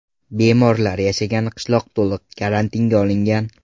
Bemorlar yashagan qishloq to‘liq karantinga olingan.